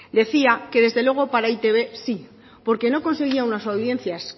decía que desde luego para e i te be sí porque no conseguía una audiencias